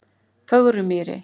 Fögrumýri